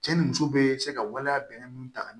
Cɛ ni muso be se ka waleya bɛnɛ ninnu ta ka